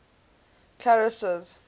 clarence's